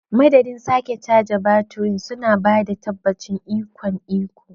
Madadin sake caji baturin, suna ba da tabbacin ikon iko.